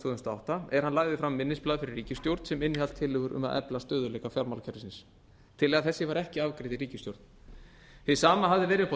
þúsund og átta er hann lagði fram minnisblað fyrir ríkisstjórn sem innihélt tillögur um að efla stöðugleika fjármálakerfisins tillaga þessi var ekki afgreidd í ríkisstjórn hið sama hafði verið uppi á